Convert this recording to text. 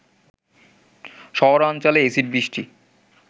শহরাঞ্চলে অ্যাসিড বৃষ্টি